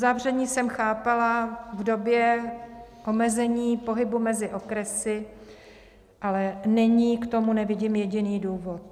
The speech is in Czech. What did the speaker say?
Uzavření jsem chápala v době omezení pohybu mezi okresy, ale nyní k tomu nevidím jediný důvod.